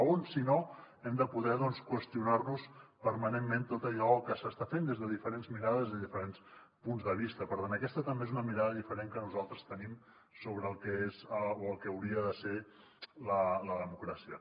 on si no hem de poder qüestionar nos permanentment tot allò que s’està fent des de diferents mirades i des de diferents punts de vista per tant aquesta també és una mirada diferent que nosaltres tenim sobre el que és o el que hauria de ser la democràcia